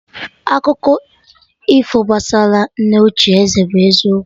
Akụkọ ifo gbasara nne ochie ézẹ̀ bụ eziokwu